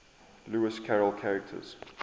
lewis carroll characters